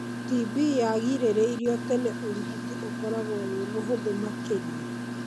TB yagirĩrĩrio tene ũrigiti ũkorwagwo wĩ mũhũthu makĩria.